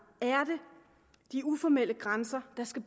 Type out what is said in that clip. de uformelle grænser der skal